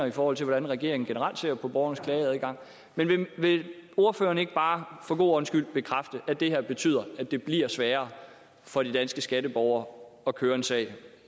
i forhold til hvordan regeringen generelt ser på borgernes klageadgang men vil ordføreren ikke bare for god ordens skyld bekræfte at det her betyder at det bliver sværere for de danske skatteborgere at køre en sag